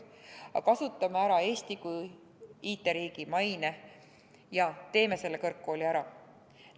Aga kasutame ära Eesti kui IT-riigi maine ja teeme selle kõrgkooli ära!